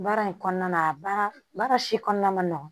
Baara in kɔnɔna a baara baara si kɔnɔna ma nɔgɔn